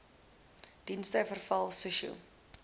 dienste veral sosio